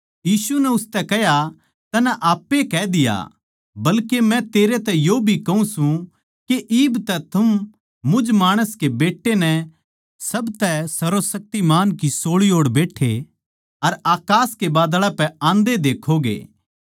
यीशु नै उसतै कह्या तन्नै आप ए कह दिया बल्के मै तेरै तै यो भी कहूँ सूं के इब तै थम मुझ माणस के बेट्टे ताहीं सारया तै सब तै सर्वशक्तिमान की सोळी ओड़ बैट्ठे अर अकास के बादळां पै आंदे देक्खोगे